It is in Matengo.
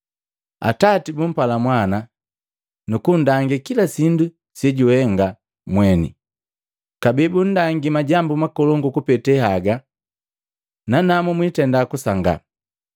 Atati bupala Mwana, nukundangi kila sindu sejuhenga mweni, kabee bundangia majambu makolongu kupeta haga, nanamu mwitenda kusangaa.